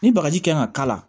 Ni bagaji kan ka k'a la